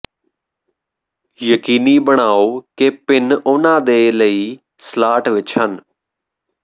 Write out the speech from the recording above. ਯਕੀਨੀ ਬਣਾਓ ਕਿ ਪਿੰਨ ਉਨ੍ਹਾਂ ਦੇ ਲਈ ਸਲਾਟ ਵਿੱਚ ਹਨ